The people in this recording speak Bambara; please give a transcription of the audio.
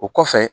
O kɔfɛ